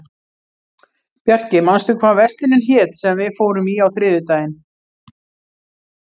Bjarki, manstu hvað verslunin hét sem við fórum í á þriðjudaginn?